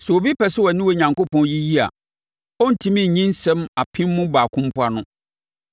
Sɛ obi pɛ sɛ ɔne Onyankopɔn yiyi a, ɔrentumi nyi nsɛm apem mu baako mpo ano.